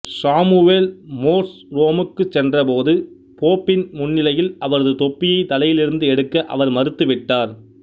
Samuel Morse ரோமுக்கு சென்ற போது போப்பின் முன்னிலையில் அவரது தொப்பியை தலையிலிருந்து எடுக்க அவர் மறுத்து விட்டார்